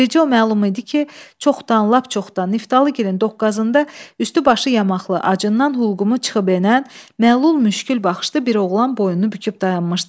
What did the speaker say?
Bircə o məlum idi ki, çoxdan, lap çoxdan Niftalıgirin doqqazında üstü başı yamaqlı, acından hulqumu çıxıb enən, məlul müşgül baxışlı bir oğlan boynunu büküb dayanmışdı.